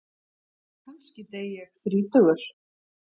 Kannski dey ég þrítugur.